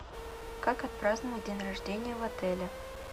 как отпраздновать день рождения в отеле